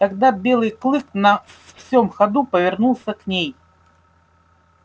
тогда белый клык на всём ходу повернулся к ней